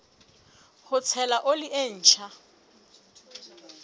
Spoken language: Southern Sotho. ho tshela oli e ntjha